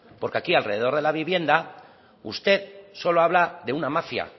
porque aquí alrededor de la vivienda usted solo habla de una mafia